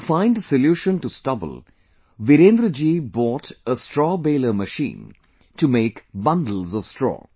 To find a solution to stubble, Virendra ji bought a Straw Baler machine to make bundles of straw